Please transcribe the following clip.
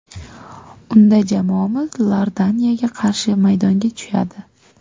Unda jamoamiz Iordaniyaga qarshi maydonga tushadi.